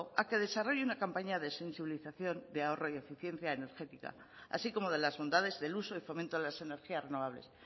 a que desarrolle una campaña de sensibilización de ahorro y eficiencia energética así como de las bondades del uso y fomento de las energías renovables